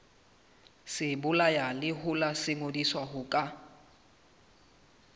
sebolayalehola se ngodisitswe ho ka